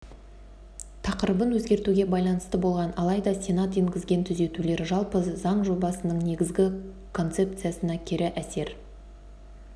тақырыбын өзгертуге байланысты болған алайда сенат енгізген түзетулер жалпы заң жобасының негізгі концепциясына кері әсер